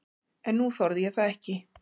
En nú þorði ég það ekki.